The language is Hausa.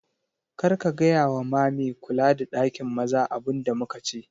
Kar ka gaya wa ma me kula da ɗakin maza abun da muka ce